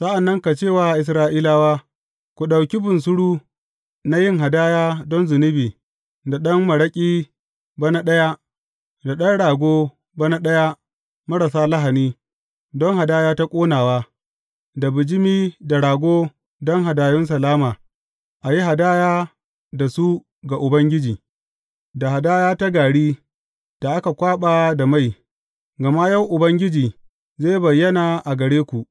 Sa’an nan ka ce wa Isra’ilawa, Ku ɗauki bunsuru na yin hadaya don zunubi, da ɗan maraƙi bana ɗaya, da ɗan rago bana ɗaya marasa lahani, don hadaya ta ƙonawa, da bijimi da rago don hadayun salama, a yi hadaya da su ga Ubangiji, da hadaya ta gari da aka kwaɓa da mai, gama yau Ubangiji zai bayyana a gare ku.’